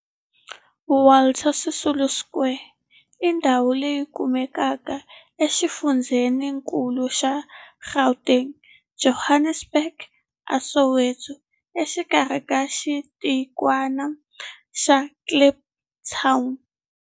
Walter Sisulu Square i ndhawu leyi kumekaka exifundzheninkulu xa Gauteng, Johannesburg, a Soweto, exikarhi ka xitikwana xa Kliptown.